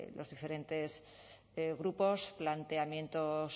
los diferentes grupos planteamientos